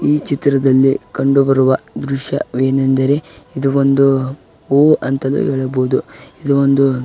ಈ ಚಿತ್ರದಲ್ಲಿ ಕಂಡು ಬರುವ ದೃಶ್ಯ ವೇನೆಂದರೆ ಇದು ಒಂದು ಹೂ ಅಂತಾನೂ ಹೇಳಬಹುದು ಇದು ಒಂದು --